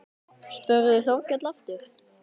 spurði Þórkell aftur.